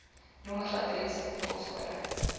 nommer adres poskode